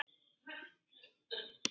Það er alls ekki rétt.